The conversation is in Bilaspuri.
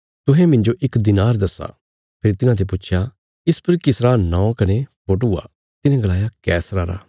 तुहें मिन्जो इक दिनार दस्सा फेरी तिन्हाते पुच्छया इस पर किसरा नौं कने फोटू आ तिन्हे गलाया कैसरा रा